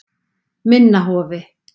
Minna Hofi